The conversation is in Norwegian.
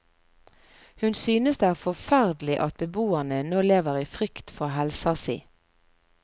Hun synes det er forferdelig at beboerne nå lever i frykt for helsa si.